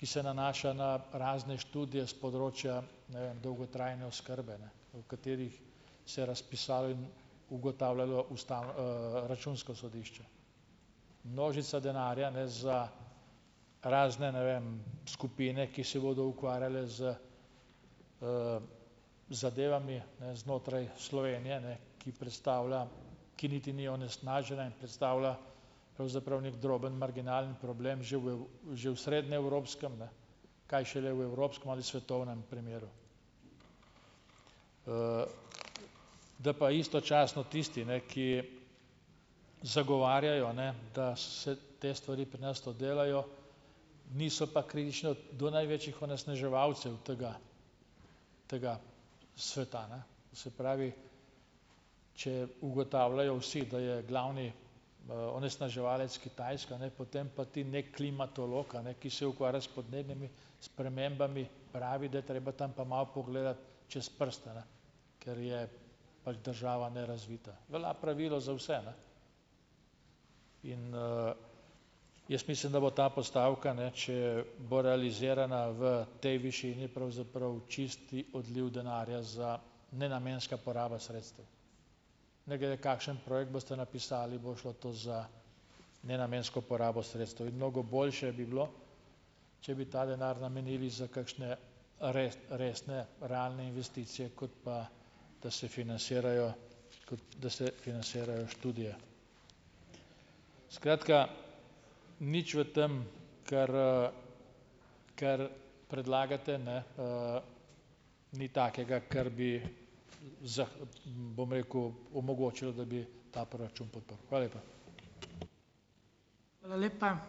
ki se nanaša na razne študije s področja ne vem dolgotrajne oskrbe, ne, o katerih se je razpisalo in ugotavljalo Računsko sodišče. Množica denarja, ne, za razne ne vem skupine, ki se bodo ukvarjale z zadevami, ne, znotraj Slovenije, ne, ki predstavlja, ki niti ni onesnažena in predstavlja, pravzaprav neki drobno, marginalen problem že v že v srednjeevropskem, ne, kaj šele v evropskem ali svetovnem primeru. Da pa istočasno tisti, ne, ki zagovarjajo, ne, da se te stvari pri nas to delajo, niso pa kritični do največjih onesnaževalcev tega tega sveta, ne. To se pravi, če ugotavljajo vsi, da je glavni onesnaževalec Kitajska, ne, potem pa ti neki klimatolog, a ne, ki se ukvarja s podnebnimi spremembami, pravi, da je treba tam pa malo pogledati čez prste, ne, ker je pač država nerazvita. Velja pravilo za vse, ne. In jaz mislim, da bo ta postavka, ne, če bo realizirana v tej višini, pravzaprav čisti odliv denarja za nenamenska poraba sredstev, ne glede kakšen projekt boste napisali, bo šlo to za nenamensko porabo sredstev. In mnogo boljše bi bilo, če bi ta denar namenili za kakšne resne, realne investicije, kot pa da se finansirajo da se finansirajo študije. Skratka, nič v tam, kar kar predlagate, ne, ni takega, kar bi bom rekel, omogočilo, da bi ta proračun podprl. Hvala lepa.